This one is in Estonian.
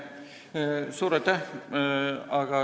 Suur aitäh!